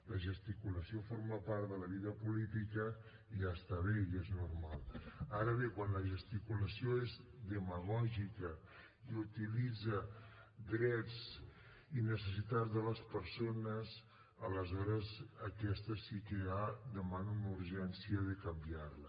la gesticulació forma part de la vida política i ja està bé i és normal ara bé quan la gesticulació és demagògica i utilitza drets i necessitats de les persones aleshores aquesta sí que ja demana una urgència de canviar la